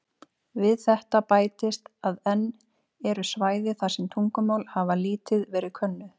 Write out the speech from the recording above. Við þetta bætist að enn eru svæði þar sem tungumál hafa lítið verið könnuð.